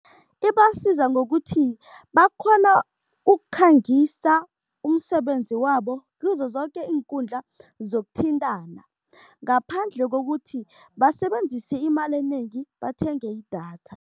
Ibasiza ngokuthi bakghona ukukhangisa umsebenzi wabo kizo zoke iinkundla zokuthintana ngaphandle kokuthi basebenzise imali enengi bathenge idatha.